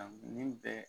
Nin bɛɛ